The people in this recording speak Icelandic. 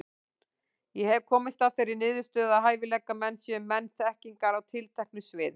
Ég hef komist að þeirri niðurstöðu, að hæfileikamenn séu menn þekkingar á tilteknu sviði.